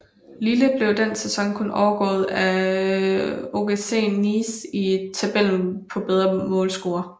Lille blev den sæson kun overgået af OGC Nice i tabellen på bedre målscore